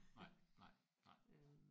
Nej nej nej